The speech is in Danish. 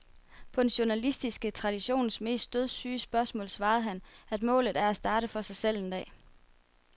På den journalistiske traditions mest dødssyge spørgsmål svarer han, at målet er at starte for sig selv en dag.